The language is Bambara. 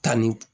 Tanni